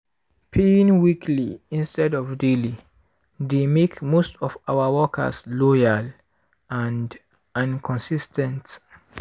paying weekly instead of daily dey make most of our workers loyal and and consis ten t.